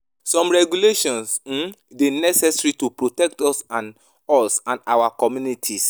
Some regulations um dey necessary to protect us and us and our communities.